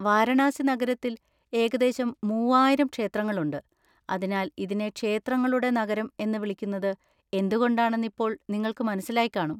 വാരണാസി നഗരത്തിൽ ഏകദേശം മൂവായിരം ക്ഷേത്രങ്ങളുണ്ട്, അതിനാൽ ഇതിനെ 'ക്ഷേത്രങ്ങളുടെ നഗരം' എന്ന് വിളിക്കുന്നത് എന്തുകൊണ്ടാണെന്ന് ഇപ്പോൾ നിങ്ങൾക്ക് മനസ്സിലായിക്കാണും.